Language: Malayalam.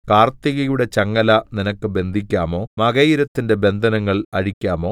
കാർത്തികയുടെ ചങ്ങല നിനക്ക് ബന്ധിക്കാമോ മകയിരത്തിന്റെ ബന്ധനങ്ങൾ അഴിക്കാമോ